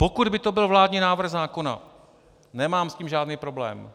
Pokud by to byl vládní návrh zákona, nemám s tím žádný problém.